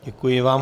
Děkuji vám.